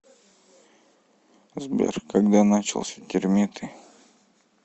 сбер когда начался термиты